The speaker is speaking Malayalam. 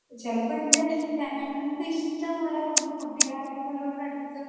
ചെലപ്പൻറെ രണ്ട് ഇഷ്ടമുള്ള രണ്ട് കൂട്ടുകാരികളോടുത്ത്